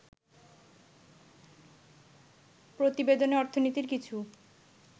প্রতিবেদনে অর্থনীতির কিছু